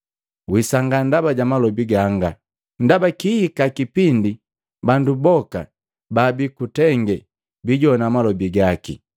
Wisangaa ndaba ja malobi ganga, ndaba kihika kipindi bandu boka babii kutenge bijowana malobi gaki,